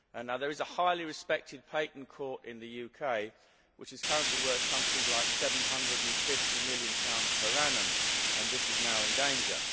There is a highly respected patent court in the UK which is currently worth something like GBP 750 million per annum and this is now in danger.